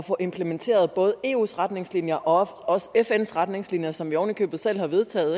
at få implementeret både eus retningslinjer og og fns retningslinjer som vi oven i købet selv har